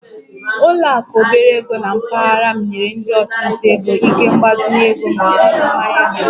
Ụlọ akụ obere ego na mpaghara m nyere ndị ọchụnta ego ike mgbazinye ego maka azụmahịa ha